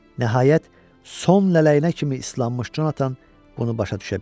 Nəhayət, son lələyinə kimi islanmış Jonathan bunu başa düşə bildi.